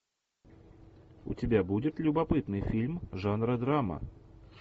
у тебя будет любопытный фильм жанра драма